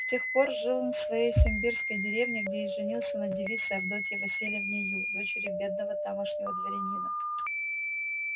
с тех пор жил он в своей симбирской деревне где и женился на девице авдотье васильевне ю дочери бедного тамошнего дворянина